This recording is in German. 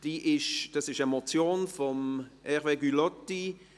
Das ist eine Motion von Hervé Gullotti.